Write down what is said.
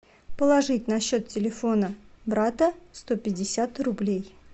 положить на счет телефона брата сто пятьдесят рублей